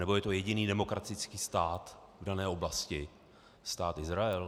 Nebo je to jediný demokratický stát v dané oblasti, Stát Izrael?